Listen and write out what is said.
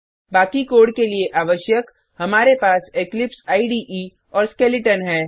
बाकी कोड के लिए आवश्यक हमारे पास इक्लिप्स इडे और स्केलेटन है